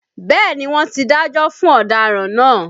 Bẹ́ẹ̀ni wọn tí dájọ́ fún ọ̀daràn náà